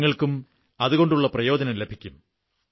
നിങ്ങൾക്കും അതുകൊണ്ടുള്ള പ്രയോജനം ലഭിക്കും